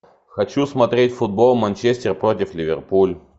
хочу смотреть футбол манчестер против ливерпуль